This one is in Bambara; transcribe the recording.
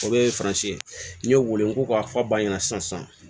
O ye faransi ye n'i y'o wele n ko k'a fa ba ɲɛna sisan